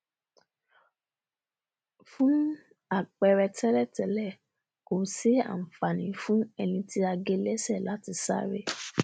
fún àpẹrẹ tẹlẹtẹlẹ kò sí ànfàní fún ẹní tí a gé lẹsẹ láti sáré